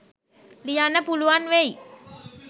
ලියන්න පුළුවන් වෙයි.